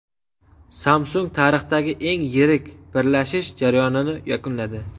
Samsung tarixdagi eng yirik birlashish jarayonini yakunladi.